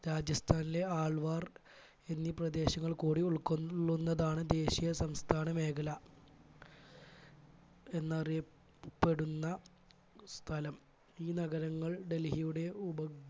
രാജസ്ഥാനിലെ ആൾവാർ എന്നീ പ്രദേശങ്ങൾ കൂടി ഉൾക്കൊള്ളുന്നതാണ് ദേശീയ സംസ്ഥാന മേഖല എന്നറിയപ്പെടുന്ന സ്ഥലം ഈ നഗരങ്ങൾ ഡൽഹിയുടെ ഉപ